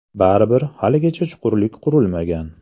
Baribir, haligacha chuqurlik qurimagan.